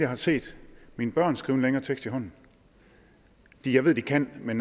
har set mine børn skrive en længere tekst i hånden jeg ved at de kan men